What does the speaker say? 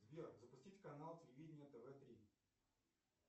сбер запустить канал телевидения тв три